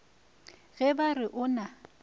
ge ba re o na